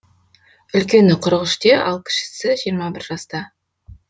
үлкені қырық үште ал кішісі жиырма бір жаста